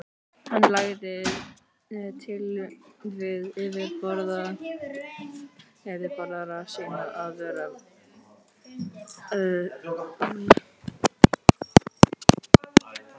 Hann lagði til við yfirboðara sína, að vararæðismennirnir í Vestmannaeyjum og á Akureyri, Jóhann